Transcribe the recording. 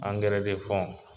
Angɛrɛ